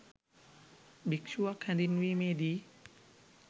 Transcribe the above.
භික්‍ෂුවක් හැඳින්වීමේ දී